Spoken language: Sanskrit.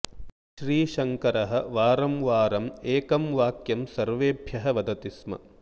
श्रीशङ्करः वारं वारम् एकं वाक्यं सर्वैभ्यः वदति स्म